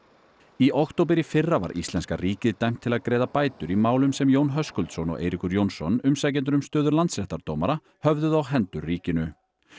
í október í fyrra var íslenska ríkið dæmt til að greiða bætur í málum sem Jón Höskuldsson og Eiríkur Jónsson umsækjendur um stöðu landsréttardómara höfðuðu á hendur ríkinu